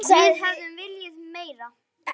Við hefðum viljað meira.